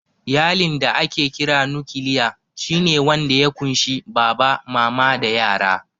Iyalin da ake kira "nukiliya" shi ne wanda ya ƙunshi Baba, Mama da yara.